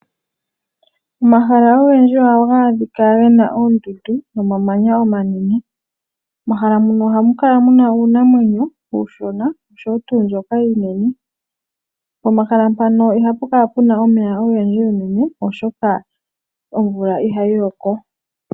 Omahala ogendji ohaga adhika gena oondundu nomamanya omanene. Momahala muno ohamu kala muna uunamwenyo uushona oshowo mbyoka iinene, pomahala mpano ihapu kala puna omeya ogendji unene oshoka omvula ihayi loko.